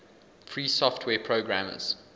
free software programmers